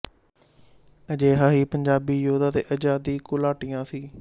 ਅਜਿਹਾ ਹੀ ਪੰਜਾਬੀ ਯੋਧਾ ਤੇ ਆਜ਼ਾਦੀ ਘੁਲਾਟੀਆ ਸੀ